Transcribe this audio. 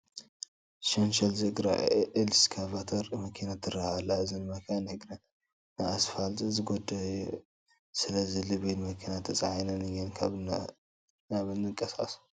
ሸንሸል ዝእግራ ኤክስካቫተር መኪና ትርአ ኣላ፡፡ እዘን መኻይን እግረን ንኣስፋልት ዝጐድእ እዩ፡፡ ስለዚ ብሎቤድ መኪና ተፃዒነን እየን ካብን ናብን ዝንቀሳቐሳ፡፡